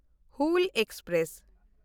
Hul express